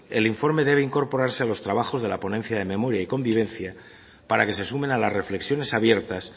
el informe debe incorporarse a los trabajos de la ponencia de memoria y convivencia para que se sumen a las reflexiones abiertas